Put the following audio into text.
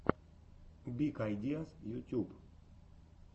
биг айдиаз ютюб